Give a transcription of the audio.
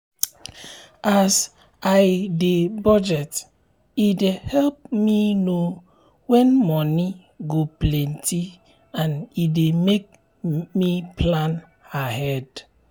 as i dey budget e dey help me know wen moni go plenty and e dey make me plan ahead